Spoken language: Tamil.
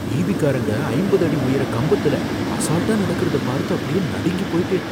ஈபிகாரங்க ஐம்பது அடி உயர கம்பத்துல அசால்ட்டா நடக்கிறத பார்த்து அப்படியே நடுங்கி போயிட்டேன்.